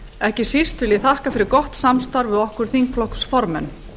ekki síst vil ég þakka fyrir gott samstarf við okkur þingflokksformenn